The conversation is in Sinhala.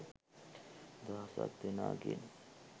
දහසක් දෙනා ගෙන්